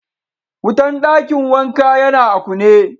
Wutan dakin wanka ya na a kune.